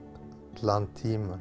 allan tímann